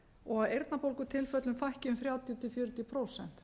og að eyrnabólgutilfellum fækki um þrjátíu til fjörutíu prósent